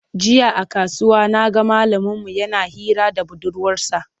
Jiya a kasuwa na ga malaminmu yana hira da budurwarsa.